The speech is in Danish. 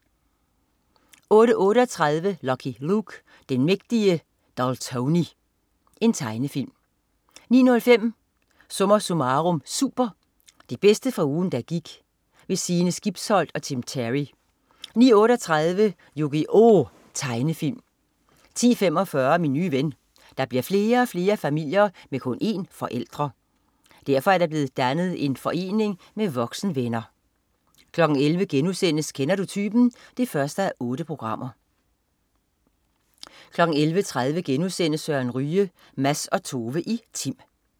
08.38 Lucky Luke. Den mægtige Daltoni. Tegnefilm 09.05 SommerSummarum Super. Det bedste fra ugen der gik. Sine Skibsholt og Tim Terry 09.38 Yu-Gi-Oh! Tegnefilm 10.45 Min nye ven. Der bliver flere og flere familier med kun en forældre. Derfor er der er blevet dannet en forening med voksenvenner 11.00 Kender du typen 1:8* 11.30 Søren Ryge. Mads og Tove i Tim*